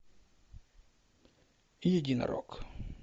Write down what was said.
единорог